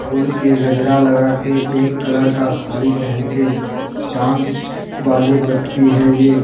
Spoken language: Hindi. पूल के गजरा लगा के एक कलर का साड़ी पहन के डांस वाले व्यक्ति है ये।